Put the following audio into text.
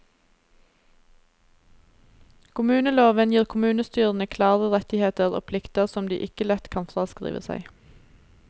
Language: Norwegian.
Kommuneloven gir kommunestyrene klare rettigheter og plikter som de ikke lett kan fraskrive seg.